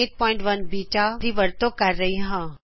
turtle version beta ਦੀ ਵਰਤੋਂ ਕਰ ਰਹੀ ਹਾਂ